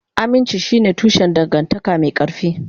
Aminci shine tushen dangantaka mai ƙarfi.